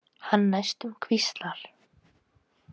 Hann næstum hvíslar.